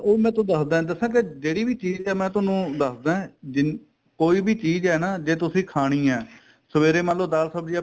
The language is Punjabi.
ਉਹ ਮੈਂ ਤੁਹਾਨੂੰ ਦਸਦਾ ਦਸਾ ਕੇ ਜਿਹੜੀ ਵੀ ਚੀਜ਼ ਏ ਮੈਂ ਤੁਹਾਨੂੰ ਦਸਦਾ ਜਿੰਨੀ ਕੋਈ ਵੀ ਚੀਜ਼ ਏ ਨਾ ਜੇ ਤੁਸੀਂ ਖਾਣੀ ਏ ਸਵੇਰੇ ਮੰਨਲੋ ਦਾਲ ਸਬਜੀ